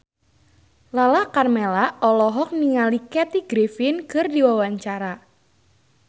Lala Karmela olohok ningali Kathy Griffin keur diwawancara